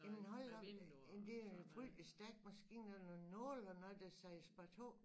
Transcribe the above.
Jamen hold da op en det er en frygtelig stærk maskine det nogen nåle og noget der siger spar 2